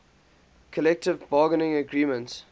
collective bargaining agreement